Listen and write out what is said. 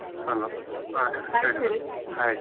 Hello ಹ ಹೇಳಿ hai .